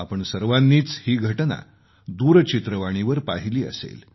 आपण सर्वांनीच ही घटना दूरचित्रवाणीवर पाहिली असेल